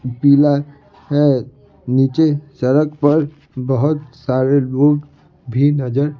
पीला है नीचे सड़क पर बहुत सारे लोग भी नजर--